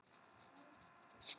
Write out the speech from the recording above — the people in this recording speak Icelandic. Samt var ég búin að taka ákvörðun.